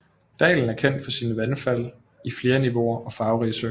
Dalen er kendt for sine vandfald i flere niveauer og farverige søer